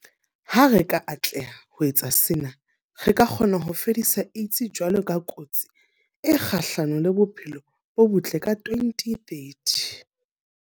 Ha re ka atleha ho etsa sena, re ka kgona ho fedisa AIDS jwalo ka kotsi e kgahlano le bophelo bo botle ka 2030.